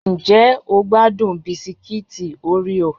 Ǹjẹ́ o gbádùn Bisikiti oreo?